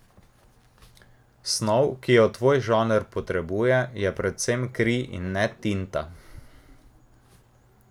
Snov, ki jo tvoj žanr potrebuje, je predvsem kri in ne tinta.